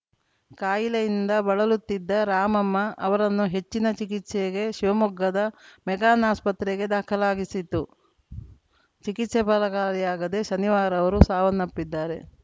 ಕಾಯಿಲೆಯಿಂದ ಬಳಲುತ್ತಿದ್ದ ರಾಮಮ್ಮ ಅವರನ್ನು ಹೆಚ್ಚಿನ ಚಿಕಿತ್ಸೆಗೆ ಶಿವಮೊಗ್ಗದ ಮೆಗಾನ್‌ ಆಸ್ಪತ್ರೆಗೆ ದಾಖಲಿಸಲಾಗಿತ್ತು ಚಿಕಿತ್ಸೆ ಫಲಕಾರಿಯಾಗದೆ ಶನಿವಾರ ಅವರು ಸಾವನ್ನಪ್ಪಿದ್ದಾರೆ